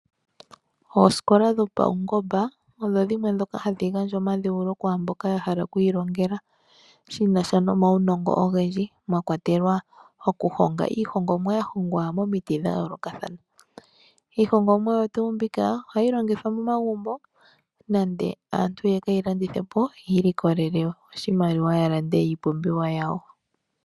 Oosikola dhopaungomba ohadhi gandja omadhewulo kwaamboka ya hala oku ilongela shinasha nomawunongo ogendji. Mwa kwatelwa iihongomwa ya hongwa momiti dha yoolokathana. Iihongomwa oyo tuu mbika ohayi longithwa momagumbo nenge aantu yeke yi landithepo yi ilikolele oshimaliwa ya lande iipumbiwa yawo.